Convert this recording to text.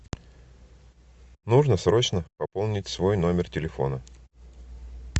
нужно срочно пополнить свой номер телефона